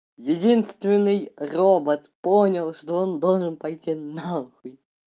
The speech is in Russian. единственный робот понял что он должен пойти на хуй